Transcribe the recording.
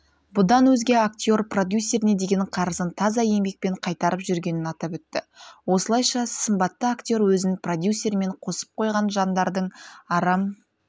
бұдан өзге актер продюсеріне деген қарызын таза еңбекпен қайтарып жүргенін атап өтті осылайша сымбатты актер өзін продюсерімен қосып қойған жандардың арам